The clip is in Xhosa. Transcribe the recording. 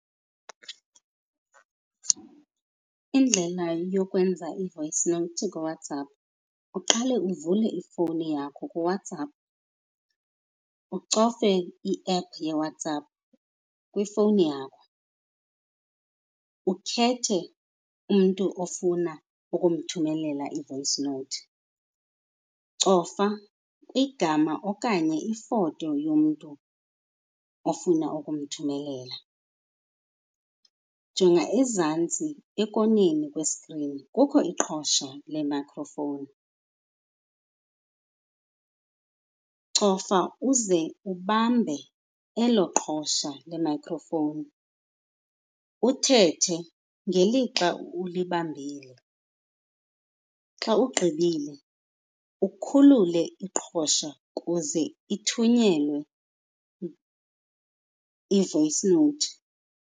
Indlela yokwenza i-voice note ngoWhatsApp, uqale uvule ifowuni yakho kuWhatsApp, ucofe i-app yeWhatsApp kwifowuni yakho, ukhethe umntu ofuna ukumthumelela i-voice note. Cofa igama okanye ifoto yomntu ofuna ukumthumelela, jonga ezantsi ekoneni kwesikrini, kukho iqhosha le-micro phone. Cofa uze ubambe elo qhosha le-micro phone uthethe ngelixa ulibambile. Xa ugqibile ukhulule iqhosha kuze ithunyelwe i-voice note.